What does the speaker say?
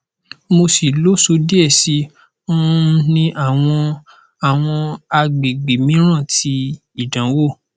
mo si loso die si um ni awọn awọn agbegbe miiran ti idanwo